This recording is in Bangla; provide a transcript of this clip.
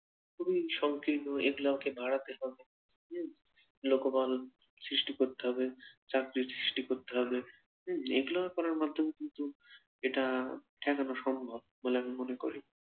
খুবই সংকীর্ণ এগুলাকেও বাড়াতে হবে হম লোকবল সৃষ্টি করতে হবে চাকরি সৃষ্টি করতে হবে হম এগুলা করার মাধ্যমে কিন্তু এটা ঠেকানো সম্ভব বলে আমি মনে করি